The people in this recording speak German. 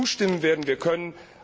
Zustimmen werden wir können.